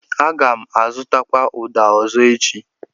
Aga m azụtakwụ uda ọzọ echi.